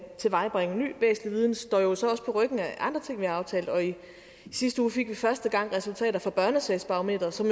tilvejebringe ny væsentlig viden står jo også på ryggen af andre ting vi har aftalt og i sidste uge fik vi første gang resultater fra børnesagsbarometret som